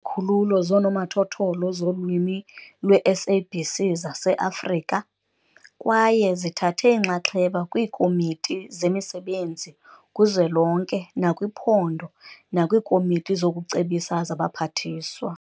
Izikhululo zonomathotholo zoLwimi lweSABC zaseAfrika, kwaye zithathe inxaxheba kwiikomiti zemisebenzi kuzwelonke nakwiphondo nakwiikomiti zokucebisa zabaphathiswa.